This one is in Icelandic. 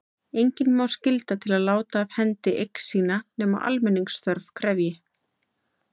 Engan má skylda til að láta af hendi eign sína nema almenningsþörf krefji.